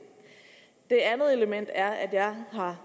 han har